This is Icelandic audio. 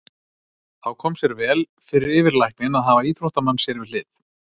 Þá kom sér vel fyrir yfirlækninn að hafa íþróttamann sér við hlið.